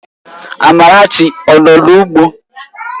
Amarachi ọ nọ n'ugbo?